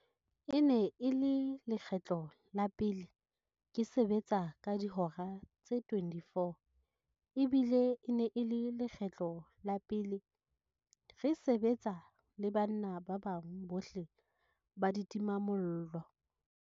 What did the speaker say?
E ne e le lekgetlo la pele ke sebetsa ka dihora tse 24 ebile e ne e le lekgetlo la pele re se-betsa le banna ba bang bohle ba ditimamollo.